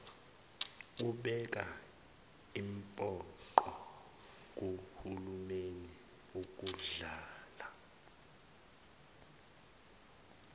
ubeka impoqo kuhulumeniukudlala